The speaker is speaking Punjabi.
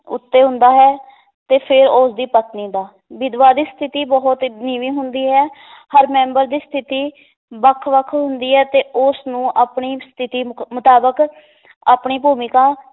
ਉੱਤੇ ਹੁੰਦਾ ਹੈ ਤੇ ਫਿਰ ਉਸ ਦੀ ਪਤਨੀ ਦਾ ਵਿਧਵਾ ਦੀ ਸਥਿਤੀ ਬਹੁਤ ਨੀਵੀਂ ਹੁੰਦੀ ਹੈ ਹਰ ਮੈਂਬਰ ਦੀ ਸਥਿਤੀ ਵੱਖ-ਵੱਖ ਹੁੰਦੀ ਹੈ ਤੇ ਉਸ ਨੂੰ ਆਪਣੀ ਸਥਿਤੀ ਮੁਕ~ ਮੁਤਾਬਕ ਆਪਣੀ ਭੂਮਿਕਾ